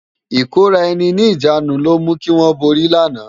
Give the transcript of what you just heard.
Ikóráèni ni ijánú ló mú kiwòn bóri làná